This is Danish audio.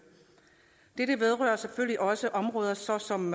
dette vedrører selvfølgelig også områder såsom